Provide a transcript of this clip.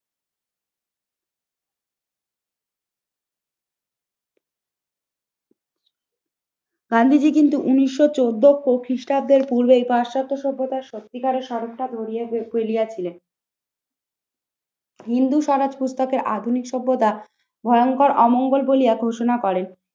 গান্ধীজি কিন্তু উনিশশো চোদ্দ খ্রিস্টাব্দের পূর্বেই পাশ্চাত্য সভ্যতার সত্যিকারের স্মারকটা ধরিয়া ফেলিয়াছিলেন। হিন্দু সারাজ পুস্তকে আধুনিক সভ্যতা ভয়ঙ্কর অমঙ্গল বলিয়া ঘোষণা করেন